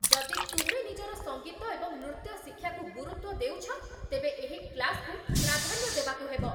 ଯଦି ତୁମେ ନିଜର ସଙ୍ଗୀତ ଏବଂ ନୃତ୍ୟ ଶିକ୍ଷାକୁ ଗୁରୁତ୍ଵ ଦେଉଛ, ତେବେ ଏହି କ୍ଳାସ୍‌କୁ ପ୍ରାଧାନ୍ୟ ଦେବାକୁ ହେବ।